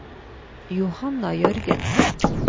Johanna Jørgensen